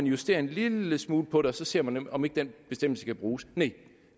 justere en lille smule på det og så ser man om ikke den bestemmelse kan bruges næh